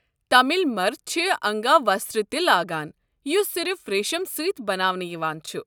تامل مرد چھِ انگاوستر تہِ لاگان یُس صِرف ریٖشم سٕتۍ بناونہٕ یوان چھُ۔